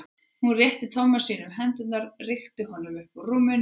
Hún rétti Tomma sínum hendurnar og rykkti honum upp úr rúminu.